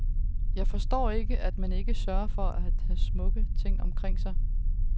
Jeg forstår ikke, at man ikke sørger for at have smukke ting omkring sig.